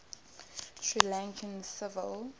sri lankan civil